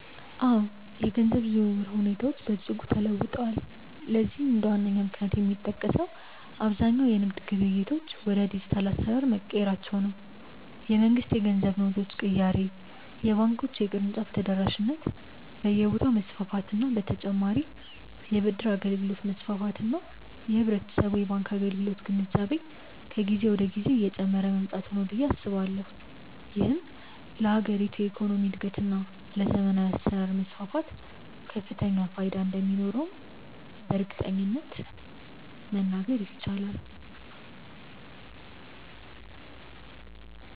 አዎ፣ የገንዘብ ዝውውር ሁኔታዎች በእጅጉ ተለውጠዋል። ለዚህም እንደ ዋነኛ ምክንያት የሚጠቀሰው አብዛኛው የንግድ ግብይቶች ወደ ዲጂታል አሰራር መቀየራቸው፣ የመንግስት የገንዘብ ኖቶች ቅያሬ፣ የባንኮች የቅርንጫፍ ተደራሽነት በየቦታው መስፋፋት በ ተጨማርም የ ብድር አገልግሎት መስፋፋት እና የህብረተሰቡ የባንክ አገልግሎት ግንዛቤ ከጊዜ ወደ ጊዜ እየጨመረ መምጣቱ ነው ብዬ አስባለሁ። ይህም ለሀገሪቱ የኢኮኖሚ እድገት እና ለዘመናዊ አሰራር መስፋፋት ከፍተኛ ፋይዳ እንደሚኖረውም በእርግጠኝነት መናገር ይቻላል።